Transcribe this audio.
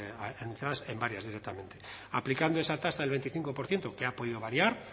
anunciadas en varias directamente aplicando esa tasa del veinticinco por ciento que ha podido variar